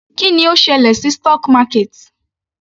Kí ni ó ṣẹlẹ̀ sí stock market?